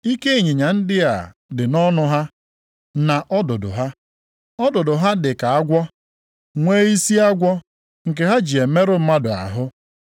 Ike ịnyịnya ndị a dị nʼọnụ ha, na ọdụdụ ha. Ọdụdụ ha dị ka agwọ, nwee isi agwọ nke ha ji emerụ mmadụ ahụ.